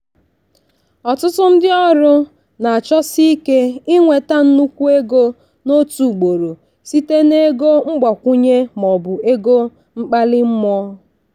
ọtụtụ ndị ọrụ na-achọsi ike inweta nnukwu ego n'otu ugboro site na ego mgbakwunye maọbụ ego mkpali mmụọ.